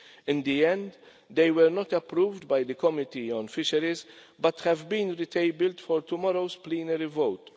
In the end, they were not approved by the Committee on Fisheries but have been re-tabled for tomorrow's plenary vote.